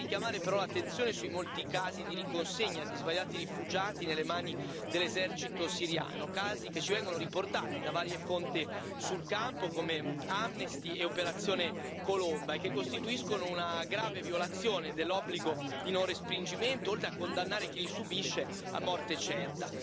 Devo anche richiamare però l'attenzione sui molti casi di riconsegna di svariati rifugiati nelle mani dell'esercito siriano, casi che ci vengono riportati da varie fonti sul campo, come Amnesty e Operazione Colomba, che costituiscono una grave violazione dell'obbligo di non respingimento, oltre a condannare chi li subisce a morte certa.